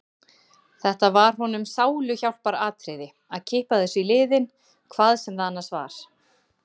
Þetta var honum sáluhjálparatriði: Að kippa þessu í liðinn, hvað sem það annars var.